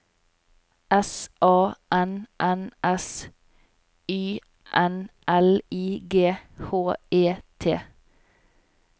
S A N N S Y N L I G H E T